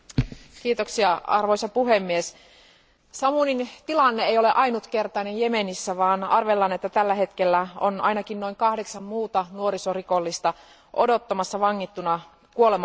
Arvoisa puhemies, Samoumin tilanne ei ole ainutkertainen Jemenissä, vaan arvellaan, että tällä hetkellä ainakin noin kahdeksan muuta nuorisorikollista odottaa vangittuna kuolemantuomiotaan.